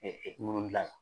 ŋunu gilan